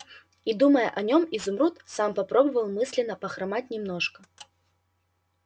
и думая о нем изумруд сам попробовал мысленно похромать немножко